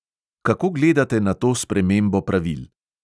Kako gledate na to spremembo pravil?